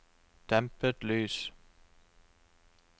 dempet lys